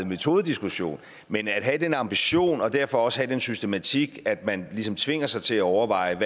metodediskussion men at have den ambition og derfor også have den systematik at man ligesom tvinger sig til at overveje